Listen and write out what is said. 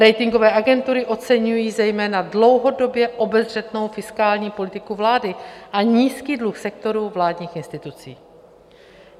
Ratingové agentury oceňují zejména dlouhodobě obezřetnou fiskální politiku vlády a nízký dluh sektoru vládních institucí.